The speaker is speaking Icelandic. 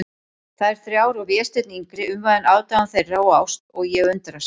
Þær þrjár og Vésteinn yngri umvafinn aðdáun þeirra og ást, og ég undrast.